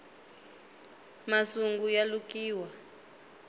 masungu ya lukiwa